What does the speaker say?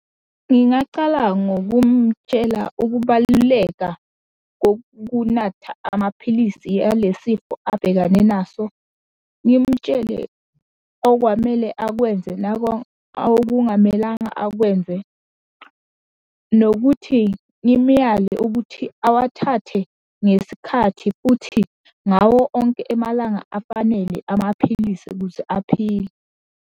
Ngingacala ngokumtshela ukubaluleka kokunatha amaphilisi ale sifo abhekane naso. Ngimtshele okwamele akwenze nako akungamelanga akwenze, nokuthi ngimuyale ukuthi awathathe ngesikhathi, futhi ngawo onke emalanga afanele amaphilisi ukuze aphile.